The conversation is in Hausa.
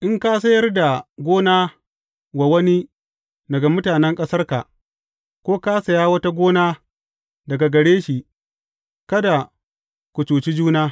In ka sayar da gona wa wani daga mutanen ƙasarka, ko ka saya wata gona daga gare shi, kada ku cuci juna.